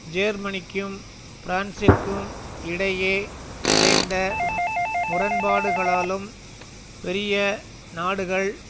ஜேர்மனிக்கும் பிரான்சிற்கும் இடையே விளைந்த முரண்பாடுகளாலும் பெரிய நாடுகள்